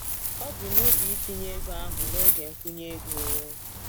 O bu n'obi itinye ego ahụ n'oge nkwụnye ego.